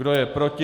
Kdo je proti?